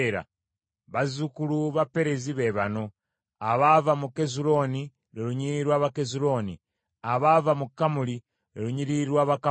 Bazzukulu ba Pereezi be bano: abaava mu Kezulooni, lwe lunyiriri lw’Abakezulooni abaava mu Kamuli, lwe lunyiriri lw’Abakamuli.